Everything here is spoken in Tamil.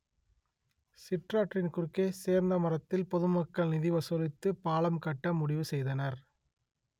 சிற்றாற்றின் குறுக்கே சேர்ந்தமரத்தில் பொதுமக்கள் நிதி வசூலித்து பாலம் கட்ட முடிவு செய்தனர்